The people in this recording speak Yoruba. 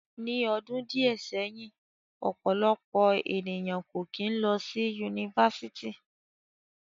Ni ọdun diẹ sẹhin, ọpọlọpọ eniyan ko kin lọ si Yunifásítì